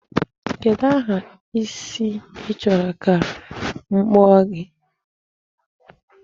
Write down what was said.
Kedụ aha isi ị chọrọ ka m kpụọ gị?